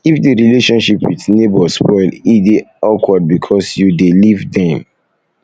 if di relationship with neighbour spoil e dey de awkward because you dey live dem